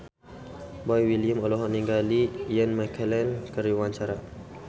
Boy William olohok ningali Ian McKellen keur diwawancara